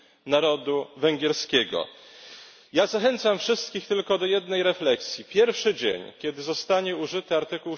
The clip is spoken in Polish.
narodu węgierskiego. Ja zachęcam wszystkich tylko do jednej refleksji pierwszy dzień, w którym zostanie użyty art.